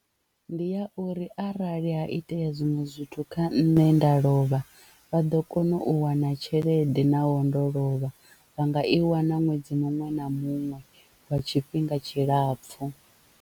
Ndi ya uri arali ha itea zwiṅwe zwithu kha nṋe nda lovha vha ḓo kona u wana tshelede naho ndo lovha vha nga i wana ṅwedzi muṅwe na muṅwe lwa tshifhinga tshilapfhu.